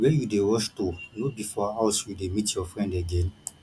where you dey rush to no be for house you dey meet your friend again